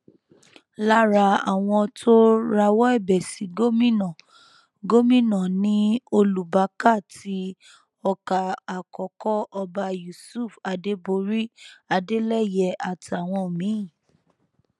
lára àwọn tó rawọ ẹbẹ sí gómìnà gómìnà ni olùbákà ti ọkà àkọkọ ọba yusuf adéborí adélẹyé àtàwọn míín